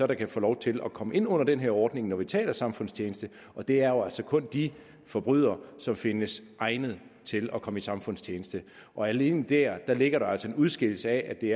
der kan få lov til at komme ind under den her ordning når vi taler samfundstjeneste og det er jo altså kun de forbrydere som findes egnet til at komme i samfundstjeneste og alene dér ligger der altså en udskillelse af at det